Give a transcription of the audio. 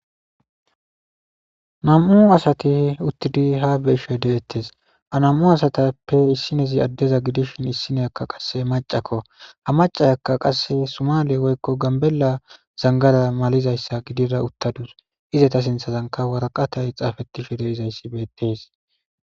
Nam'u asati uttidi ha xelishe dettes ha nam'u asatappe issiniya adeza gidishin issiniyaka macakko ha maca Yakka sumale woykon gabela zangara malada uttadus izeta sinthazanka waraqatay xafetishe uttidaysikka betes